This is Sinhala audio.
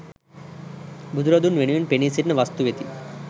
බුදුරදුන් වෙනුවෙන් පෙනී සිටින වස්තු වෙති.